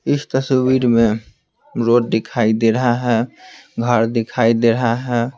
इस तस्वीर में रोड दिखाई दे रहा है घर दिखाई दे रहा है ।